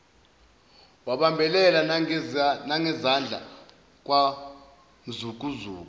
wabambelela nangezandla kwawumzukuzuku